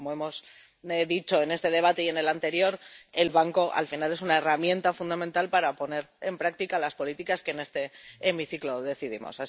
Porque, como hemos dicho en este debate y en el anterior, el Banco al final es una herramienta fundamental para poner en práctica las políticas que en este hemiciclo decidimos.